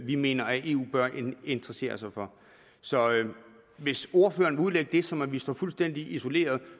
vi mener at eu bør interessere sig for så hvis ordføreren vil udlægge det som at vi står fuldstændig isoleret